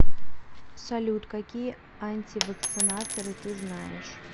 салют какие антивакцинаторы ты знаешь